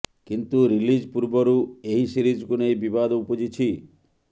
କିନ୍ତୁ ରିଲିଜ୍ ପୂର୍ବରୁ ଏହି ସିରିଜକୁ ନେଇ ବିବାଦ ଉପୁଜିଛି